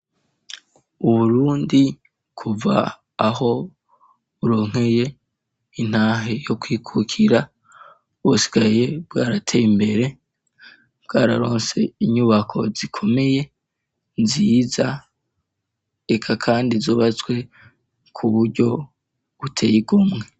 Uwurundi kuva aho uronkeye intahe yo kwikukira busigaye bwaratee imbere bwararonse inyubako zikomeye nziza eka, kandi zubazswe ku buryo uteywe.